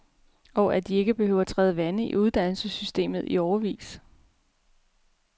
Og at de ikke behøver træde vande i uddannelsessystemet i årevis.